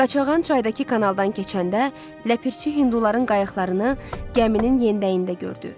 Qaçağan çaydakı kanaldan keçəndə Ləpirçi hinduların qayıqlarını gəminin yendəyində gördü.